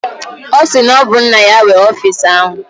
Ọ sị na ọ bụ nna ya nwe ọfisi ahụ